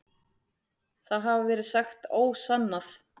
Það hafi verið sagt ósannað.